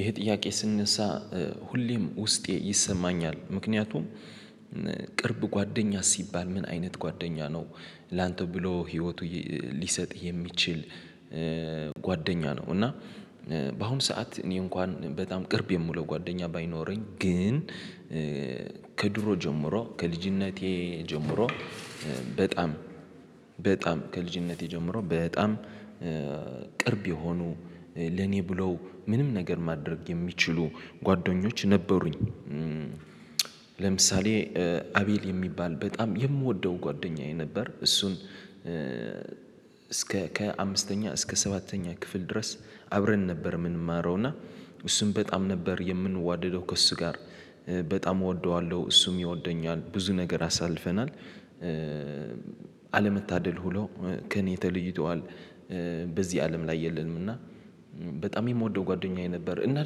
ይሄ ጥያቄ ሲነሳ ሁሌም ውስጤን ይሰማኛል። ምክንያቱም ቅርብ ጓደኛ ሲባል ምን አይነት ጓደኛ ነው? ላንተ ብሎ ሂወቱ ሊሰጥ የሚችል ጓደኛ ነው። እና በአሁኑ ስዓት እኔ እንኳ ቅርብ የምለው ጎደኛ ባይኖረኝ ግን ከድሮ ጀምሮ ከልጅነቴ ጀምሮ በጣም በጣም ከልጅነቴ ጀምሮ በጣም ቅርብ የሆኑ ለኔ ብለው ምንም ነገር ማድረግ የሚችሉ ጎደኞች ነበሩኝ። ለምሳሌ አቤል የሚባል በጣም የምወደው ጎደኛየ ነበር እሱም እስከ ከአምስተኛ እስከ ሰባተኛ ክፍል ድረስ አብረን ነው ምንማረው እና እሱን በጣም ነበር የምንዋደደው ከእሱ ጋር በጣም እወደዋለሁ እሱም ይወደኛል ብዙ ነገር አሳልፈናል። አለመታደል ሁኖ ከእኔ ተለይቶል በዚህ አለም ላይ የለም። በጣም የምወደው ጎደኛየ ነበር እና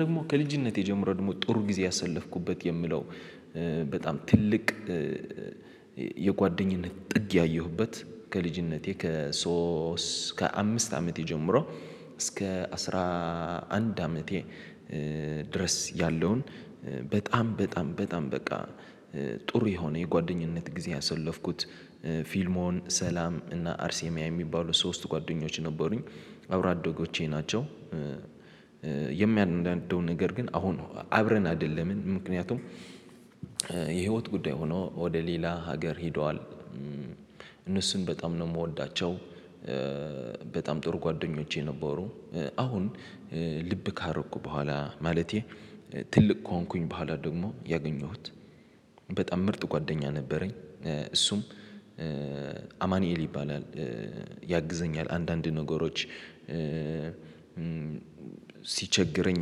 ደግሞ ከልጅነቴ ጀምሮ ደግሞ ጥሩ ጊዜ ያሳለፍኩበት የምለው በጣም ትልቅ የጓደኝነት ጥግ ያየሁበት ከልጅነቴ ከሶስት ከአምስት አመቴ ጀምሮ እስከ አስራ አንድ አመቴ ድረስ ያለውን በጣም በጣም በጣም በቃ ጥሩ የሆነ የጓደኝነት ጊዜ ያሳለፍኩት ፊልሞን ሰላም እና አርሴማ የሚባሉ ሶስት ጓደኞች ነበሩኝ አብሮ አደጎቼ ናቸው። የሚያናደው ነገር ግን አሁን አብረን አደለንም ምክንያቱም የሂወት ጉዳይ ሁኖ ወደ ሌላ ሀገር ሂደዋል። እነሱን በጣም ነው ምወዳቸው በጣም ጥሩ ጎደኞቼ ነበሩ። አሁን ልብ ካረኩ በኋላ ማለቴም ትልቅ ከሆንኩ በኋላ ያገኘሁት በጣም ምርጥ ጓደኛ ነበረኝ እሱም አማንኤል ይባላል ያግዘኛል አንዳንድ ነገሮች ሲቸግረኝ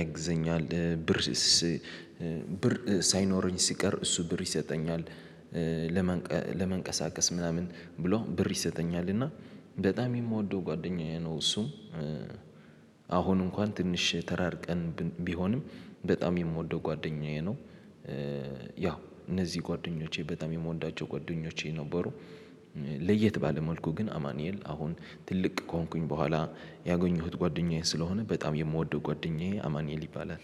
ያግዘኛል ብርሲስ ብር ሳይኖረኝ ሲቀር እሱ ብር ይሰጠኛል። ለመንቀ ለመንቀሳቀስ ምናምን ብሎ ብር ይሰጠኛል እና በጣም የምወደው ጓደኛየ ነው። እሱም አሁን እንኳን ትንሽ ተራርቀን ብ ቢሆንም በጣም ምወደው ጓደኛየ ነው። የሂወት ጉዳይ ሁኖ ወደ ሌላ ሀገር ሂደዋል እነሱን በጣም ነው ምወዳቸው። ለየት ባለ መልኩ ግን አማኑኤል አሁን ትልቅ ከሆንኩ በኋላ ያገኘሁት ጓደኛየ ስለሆነ በጣም የምወደው ጎደኛየ አማንኤል ይባላል።